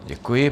Děkuji.